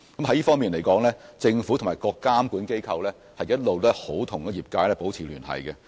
在這方面，政府及各監管機構一直與業界保持聯繫。